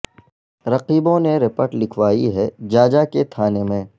رقیبوں نے رپٹ لکھوائی ہے جاجا کے تھانے میں